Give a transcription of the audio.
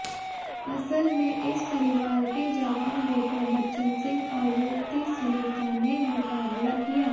असल में इस परिवार के जवान बेटे बच्चन सिंह और युवती सुनीता ने मुकाबला किया